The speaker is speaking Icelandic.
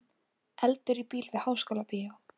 Eldur í bíl við Háskólabíó